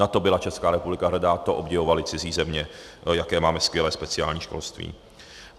Na to byla Česká republika hrdá, to obdivovaly cizí země, jaké máme skvělé speciální školství.